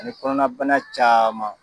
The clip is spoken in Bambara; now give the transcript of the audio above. Ani kɔnɔna bana caman.